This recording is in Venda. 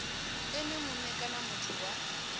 ene mue kana muthu wa